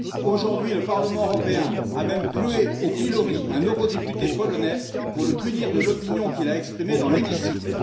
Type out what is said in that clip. Aujourd'hui, le Parlement européen a même cloué au pilori un eurodéputé polonais afin de le punir pour l'opinion qu'il a exprimée dans l'hémicycle.